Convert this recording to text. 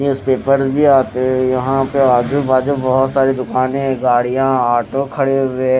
newspaper भी आते यहां पे आजू बाजू बहोत सारी दुकाने गाड़ियां ऑटो खड़े हुए--